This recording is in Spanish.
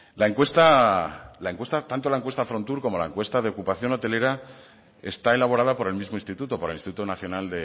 tanto la encuesta frontur como la encuesta de ocupación hotelera está elaborada por el mismo instituto por el instituto nacional